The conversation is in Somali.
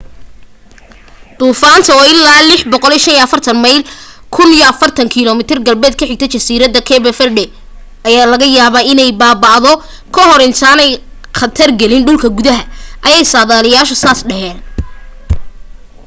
duufaanta oo ilaa 645 mayl 1040 km galbeed ka xigta jasiiradaha cape verde ayaa laga yaabaa inay baaba'do ka hor intaanay khatargelin dhulka gudaha ayay sadaaliyaashu dhaheen